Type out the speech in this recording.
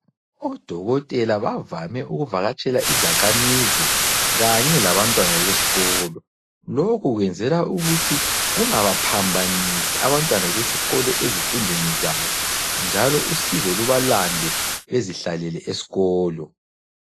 Odokotela bavame ukuvakatshela izakhamizi kanye labantwana besikolo. Lokho kwenzelwa ukuthi kungabaphambanisi abantwana besikolo ezifundweni zabo njalo usizo lubalande bezihlalele esikolo.